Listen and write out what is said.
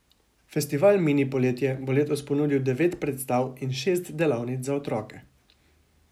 Festival Mini poletje bo letos ponudil devet predstav in šest delavnic za otroke.